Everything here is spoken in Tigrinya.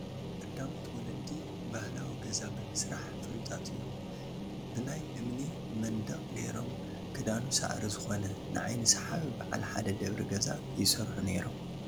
ቀዳሞት ወለዲ ባህላዊ ገዛ ብምስራሕ ፍሉጣት እዮ፡፡ ብናይ እምኒ መንደቕ ገይሮም ክዳኑ ሳዕሪ ዝኾነ ንዓይኒ ሰሓቢ በዓል ሓደ ደብሪ ገዛ ይሰርሑ ነይሮም፡፡